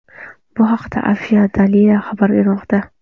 Bu haqda Afisha Daily xabar bermoqda .